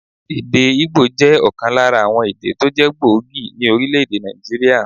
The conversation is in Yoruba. Èdè Ígbò jẹ́ òkan lára àwon èdè tó jé gbòógì ní Orílèdè Nàìjíríà